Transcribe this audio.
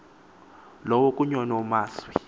lowo kuny unomaswi